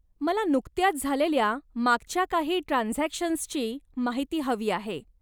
मला नुकत्याच झालेल्या मागच्या काही ट्रान्झॅक्शन्सची माहिती हवी आहे.